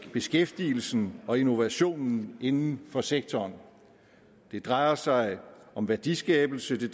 beskæftigelsen og innovationen inden for sektoren det drejer sig om værdiskabelse